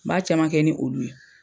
N ba caman kɛ ni olu ye.